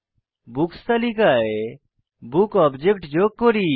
books তালিকায় book object যোগ করি